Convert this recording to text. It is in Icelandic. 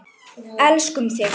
Elskum þig.